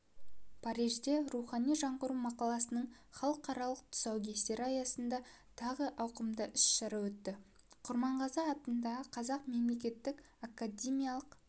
парижде рухани жаңғыру мақаласының халықаралық тұсаукесері аясында тағы ауқымды іс-шара өтті құрманғазы атындағы қазақ мемлекеттік академиялық